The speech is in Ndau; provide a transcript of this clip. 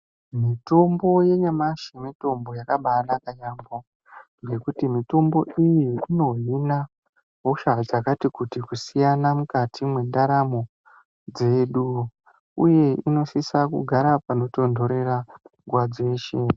Mitombo yanyamashi mutombo yakabanaka yambo nekuti mitombo iyi inohina hosha dzakati kuti kusiyana mukati mendaramo dzedu. Uye inosisa kugara panotontorera nguwa dzeshe.